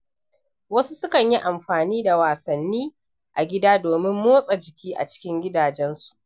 Wasu sukan yi amfani da wasanni a gida domin motsa jiki a cikin gidajensu.